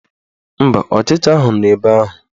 Mba, ọchịcha ahụ nọ ebe ahụ